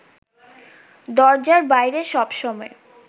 দরজার বাইরে সবসময়